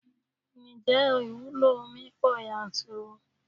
Ǹjẹ́ ìwúlò omi pọ yanturu?